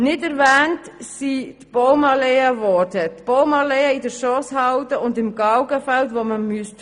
Nicht in der Kreditvorlage erwähnt sind die Baumalleen, die in der Schosshalde und im Galgenfeld gefällt werden müssten.